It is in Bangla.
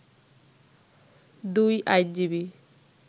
দুই আইনজীবী